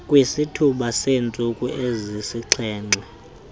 kwisithuba seentsuku ezisixhenxe